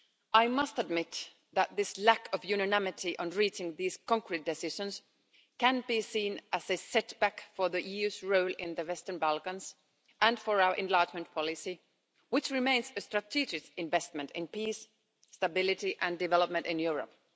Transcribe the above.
I must admit that this lack of unanimity on reaching these concrete decisions can be seen as a setback for the EU's role in the Western Balkans and for our enlargement policy, which remains a strategic investment in peace, stability and development in Europe.